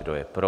Kdo je pro?